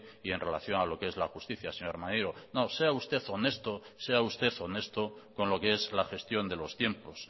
y en relación a lo que es la justicia señor maneiro no sea usted honesto sea usted honesto con lo que es la gestión de los tiempos